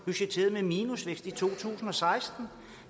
budgetteret med minusvækst i to tusind og seksten